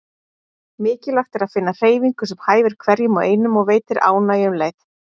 Mikilvægt er að finna hreyfingu sem hæfir hverjum og einum og veitir ánægju um leið.